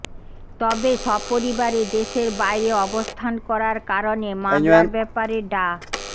তবে সপরিবারে দেশের বাইরে অবস্থান করার কারণে মামলার ব্যপারে ডা